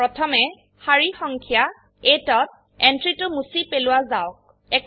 প্ৰথমে সাৰি সংখ্যা 8 ত এন্ট্ৰিটো মুছি পেলোৱা যাওক